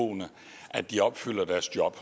at de værner om